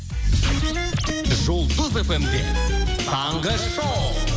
жұлдыз фм де таңғы шоу